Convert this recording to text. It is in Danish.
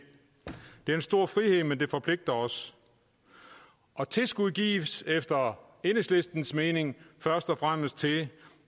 det er en stor frihed men det forpligter os tilskuddet gives efter enhedslistens mening først og fremmest til